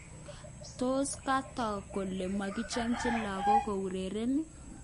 Tos kotog kele mokichomchin lakog kourereni ?